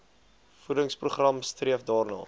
voedingsprogram streef daarna